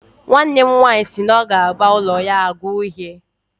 Nwanne m nwanyị si na ọ ga-agba ụlọ ya agwa uhie